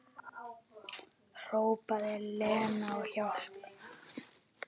Hrópaði Lena á hjálp?